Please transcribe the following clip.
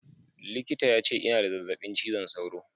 Likita ya ce ina da zazzaɓin cizon sauro